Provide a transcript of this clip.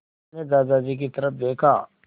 मैंने दादाजी की तरफ़ देखा